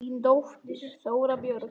Þín dóttir, Þóra Björg.